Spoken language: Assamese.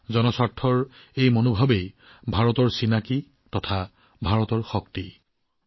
সৰ্বজন হিতায়ৰ এই ভাৱনা ভাৰতৰ পৰিচয়ৰ লগতে শক্তিও